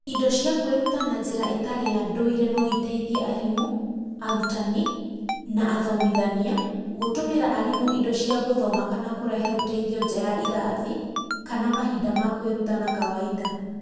Indo cia kwĩruta na njĩra ĩtarĩ ya ndũire no iteithie arimũ, arutani, na athomithania gũtũmĩra arimũ indo cia gũthoma kana kũrehe ũteithio nja ya irathi kana mahinda ma kwĩruta ma kawaida.